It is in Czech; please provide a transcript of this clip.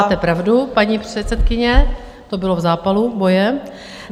Máte pravdu, paní předsedkyně, to bylo v zápalu boje.